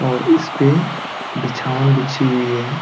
और इसपे बिछावन बिछी हुई हैं।